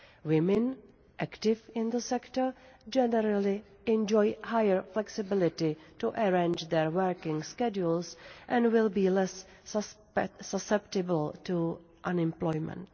Women active in this sector generally enjoy higher flexibility to arrange their working schedules and will be less susceptible to unemployment.